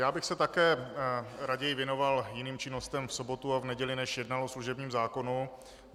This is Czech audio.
Já bych se také raději věnoval jiným činnostem v sobotu a v neděli, než jednal o služebním zákonu.